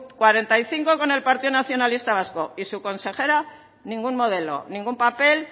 cuarenta y cinco con el partido nacionalista vasco y su consejera ningún modelo ningún papel